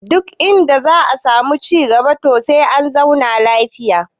Duk inda za a samu ci cigaba to sai an zauna lafiya